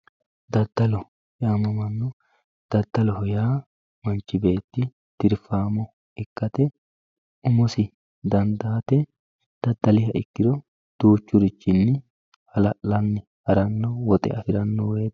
daddaloho yaamamanno daddaloho yaa manchi beetti tirfaamo ikkate umosi dandaate daddalihe ikkiro duuchurichinni hala'lanni harannohu woxe afirannowoyiite